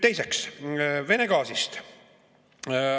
Teiseks, Vene gaasist.